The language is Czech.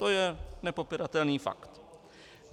To je nepopiratelný fakt.